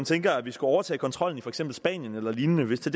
tænker at vi skal overtage kontrollen i for eksempel spanien eller lignende hvis det